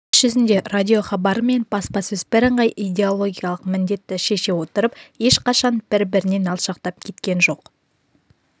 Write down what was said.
іс жүзінде радиохабары мен баспасөз бірыңғай идеологиялық міндетті шеше отырып ешқашан бір-бірінен алшақтап кеткен жоқ